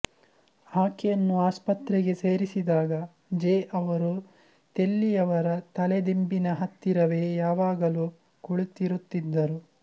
ಆಕೆಯನ್ನು ಆಸ್ಪತ್ರೆಗೆ ಸೇರಿಸಿದಾಗ ಜೆ ಅವರು ಥೆಲ್ಲಿಯವರ ತಲೆ ದಿಂಬಿನ ಹತ್ತಿರವೇ ಯಾವಾಗಲೂ ಕುಳಿತಿರುತ್ತಿದ್ದರು